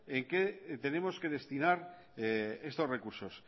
en qué tenemos que destinar estos recursos